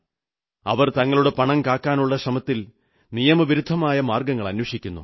അവർ തങ്ങളുടെ പണം കാക്കാനുള്ള ശ്രമത്തിൽ നിയമവിരുദ്ധമായ മാർഗ്ഗങ്ങൾ അന്വേഷിക്കുന്നു